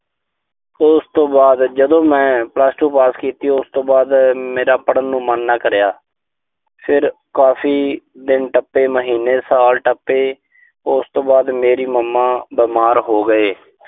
ਫਿਰ ਉਸ ਤੋਂ ਬਾਅਦ ਜਦੋਂ ਮੈਂ plus two ਪਾਸ ਕੀਤੀ। ਉਸ ਤੋਂ ਬਾਅਦ ਮੇਰਾ ਪੜ੍ਹਨ ਨੂੰ ਮਨ ਨਾ ਕਰਿਆ। ਫਿਰ ਕਾਫ਼ੀ ਦਿਨ ਟੱਪੇ। ਮਹੀਨੇ, ਸਾਲ ਟੱਪੇ। ਉਸ ਤੋਂ ਬਾਅਦ ਮੇਰੇ mama ਬਿਮਾਰ ਹੋ ਗਏ।